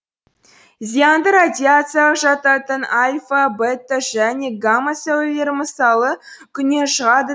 зиянды радиацияға жататын альфа бетта және гамма сәулелері мысалы күннен шығады